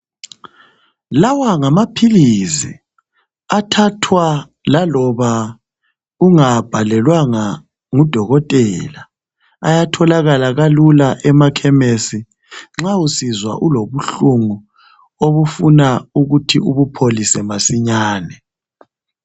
Lawa ngamaphilisi athathwa laloba ungawabhalelwanga ngudokotela ayatholakala kalula emakhemisi nxa usizwa ulobuhlungu obufuna ukuthi ubupholise masinyane.